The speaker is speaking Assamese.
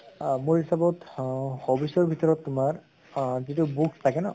আহ মোৰ হিচাপত অহ hobbies ৰ ভিতৰত তোমাৰ আহ যিটো books থাকে ন